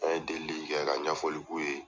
An ye deli kɛ, ka ɲɛfɔli k'u ye.